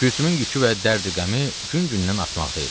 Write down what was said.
Gülsümün yükü və dərd-qəmi gün-gündən artmaqda idi.